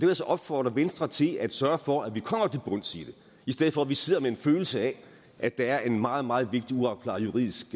vil så opfordre venstre til at sørge for at vi kommer til bunds i det i stedet for at vi sidder med en følelse af at der er en meget meget vigtig uopklaret juridisk